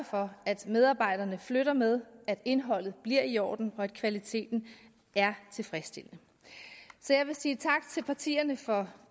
for at medarbejderne flytter med at indholdet bliver i orden og at kvaliteten er tilfredsstillende jeg vil sige tak til partierne for